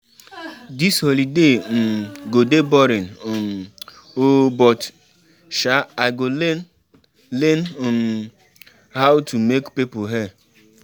Dis holiday um go dey boring um oo but sha I go learn learn um how to make people hair